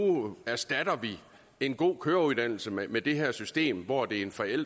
erstatter vi en god køreuddannelse med med det her system hvor det er en forælder